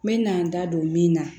N mɛna n da don min na